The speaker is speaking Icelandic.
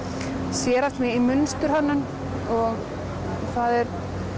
sérhæft mig í mynsturhönnun og það er